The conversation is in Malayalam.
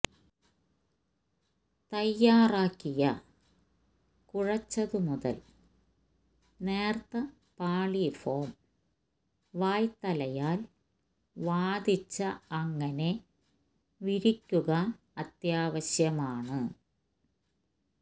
തയ്യാറാക്കിയ കുഴെച്ചതുമുതൽ നേർത്ത പാളി ഫോം വായ്ത്തലയാൽ വാദിച്ച അങ്ങനെ വിരിക്കുക അത്യാവശ്യമാണ്